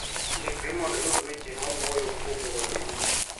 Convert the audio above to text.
Ndikri mondo iyud weche mawuoyo kuom wuodheni.